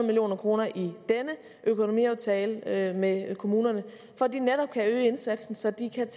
million kroner i denne økonomiaftale med kommunerne for at de netop kan øge indsatsen så de kan